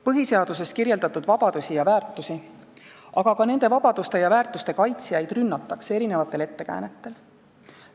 Põhiseaduses kirjeldatud vabadusi ja väärtusi, aga ka nende vabaduste ja väärtuste kaitsjaid rünnatakse erinevatel ettekäänetel.